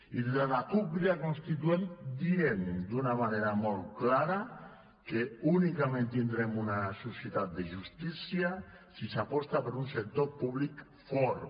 i des de la cup crida constituent diem d’una manera molt clara que únicament tindrem una societat de justícia si s’aposta per un sector públic fort